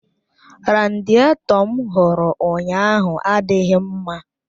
Radiéto m hụrụ ụnyaahụ adịghị mma